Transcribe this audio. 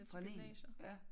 Fra niende ja